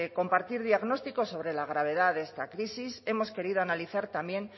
compartir diagnóstico sobre la gravedad de esta crisis hemos querido analizar también